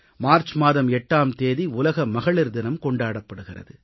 March மாதம் 8ஆம் தேதி உலக மகளிர் தினம் கொண்டாடப்படுகிறது